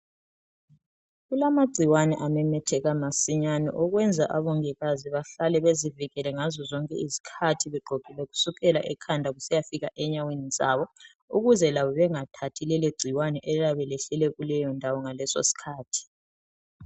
Kulamagcikwane amemetheka masinyane okwenza abongikazi bahlale bezivikele ngazozonke izikhathi begqokile kusukela ekhanda kusiyafika enyaweni zabo ukuze labo bengathathi lelogcikwane eliyane lehlele kuleyondawo ngalesosikhathi.